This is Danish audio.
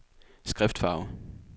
skriftfarve